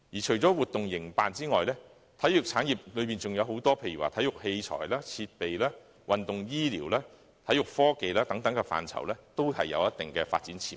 除了營辦活動外，體育產業還包括體育器材、設備、運動醫療、體育科技等範疇，這些範疇均有一定的發展潛力。